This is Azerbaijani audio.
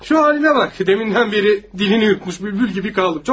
Bu halına bax, demindən bəri dilini yutmuş bülbül kimi qaldım.